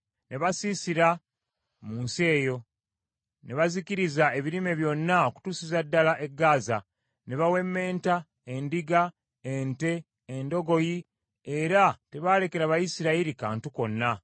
Ne basiisira mu nsi eyo, ne bazikiriza ebirime byonna okutuusiza ddala e Gaaza. Ne bawemmenta endiga, ente, endogoyi era tebaalekera Bayisirayiri kantu konna.